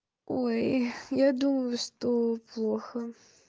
ой я думаю что плохо